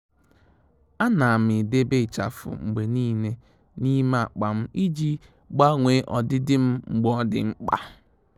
À nà m edèbè ịchafụ mgbe nìile n’ímé ákpá m iji gbanwee ọdịdị m mgbe ọ́ dị́ mkpa.